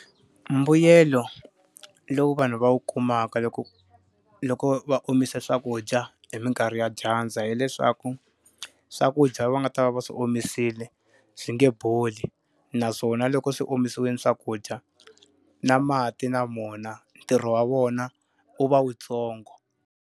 Mbuyelo lowu vanhu va wu kumaka loko loko va omise swakudya hi minkarhi ya dyandza hileswaku, swakudya va nga ta va va swi omisile swi nge boli. Naswona loko swi omisiwile swakudya, na mati na wona ntirho wa wona wu va wuntsongo.